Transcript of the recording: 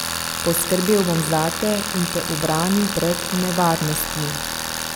Poskrbel bom zate in te ubranil pred nevarnostmi.